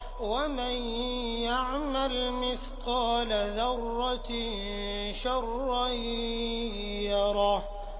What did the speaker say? وَمَن يَعْمَلْ مِثْقَالَ ذَرَّةٍ شَرًّا يَرَهُ